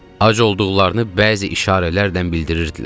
Ac olduqlarını bəzi işarələrlə bildirirdilər.